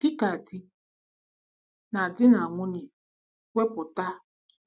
Dị ka di na di na nwunye, wepụta